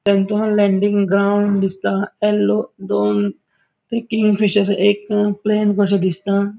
Landing ground दिसता yellow दोन ती किंगफिशर एक प्लैन कशे दिसता.